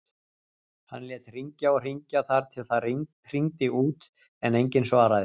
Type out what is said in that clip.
Hann lét hringja og hringja þar til það hringdi út en enginn svaraði.